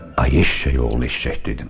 Ay eşşək oğlu eşşək dedim.